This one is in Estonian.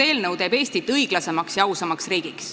See teeb Eestist õiglasema ja ausama riigi.